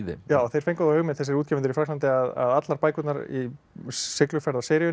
þeir fengu þá hugmynd þessir útgefendur í Frakklandi að allar bækurnar í